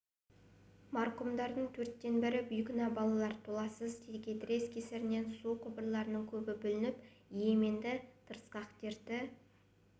марқұмдардың төрттен бірі бейкүнә балалар толассыз текетірес кесірінен су құбырларының көбі бүлініп йеменді тырысқақ дерті